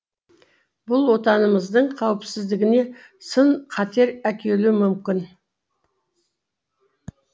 бұл отанымыздың қауіпсіздігіне сын қатер әкелуі мүмкін